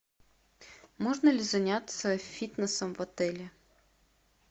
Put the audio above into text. можно ли заняться фитнесом в отеле